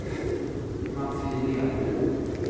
Mats Lidén